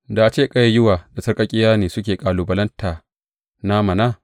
Da a ce ƙayayyuwa da sarƙaƙƙiya ne suke kalubalanta na mana!